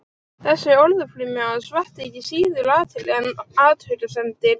Þessi orðaflaumur hans vakti ekki síður athygli en athugasemdir